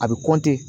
A bɛ